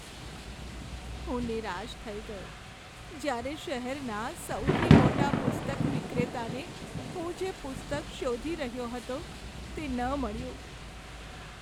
હું નિરાશ થઈ ગયો જ્યારે શહેરના સૌથી મોટા પુસ્તક વિક્રેતાને હું જે પુસ્તક શોધી રહ્યો હતો તે ન મળ્યું.